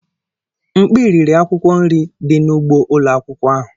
Nkpi riri akwukwo nri di n'ugbo ulo akwukwo ahụ.